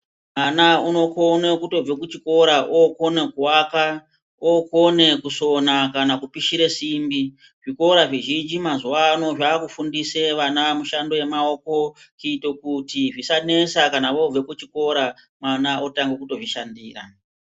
Mwana unokona kutobva kuchikora okone kuaka, okona kusona kana kupishire simbi. Zvikora mazuwano zvakufundisa vana mishando yemaoko kuite kuti zvisanesa kama vobve kuchikora mwana otange kutozvishandira.